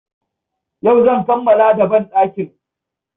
Yau zan kammala da banɗakin.